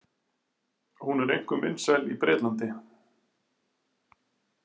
Hún er einkum vinsæl í Bretlandi.